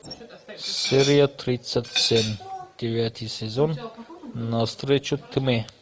серия тридцать семь девятый сезон на встречу тьме